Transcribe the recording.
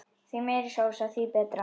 Því meiri sósa því betra.